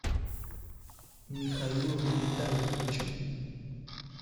михаилом витальевичем